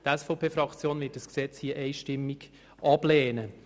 Die SVP-Fraktion wird dieses Gesetz einstimmig ablehnen.